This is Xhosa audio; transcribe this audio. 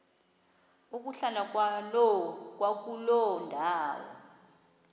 ukuhlala kwakuloo ndawo